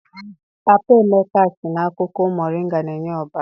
Papa Emeka sị na akwụkwọ moringa na-enye ọbara.